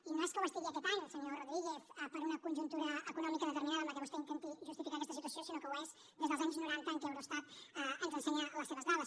i no és que ho estigui aquest any senyor rodríguez per una conjuntura econòmica determinada amb què vostè intenti justificar aquesta situació sinó que ho és des dels anys noranta en què eurostat ens ensenya les seves dades